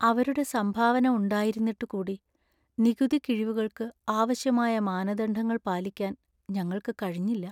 അവരുടെ സംഭാവന ഉണ്ടായിരുന്നിട്ടു കൂടി , നികുതി കിഴിവുകൾക്ക് ആവശ്യമായ മാനദണ്ഡങ്ങൾ പാലിക്കാൻ ഞങ്ങൾക്ക് കഴിഞ്ഞില്ല.